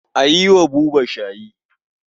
A yi wa Buba shayi.